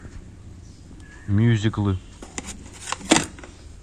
мюзиклы